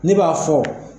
Ne b'a fɔ